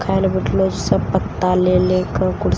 खाए लए बैठलौ छै सब पता ले ले कए कुर्सी--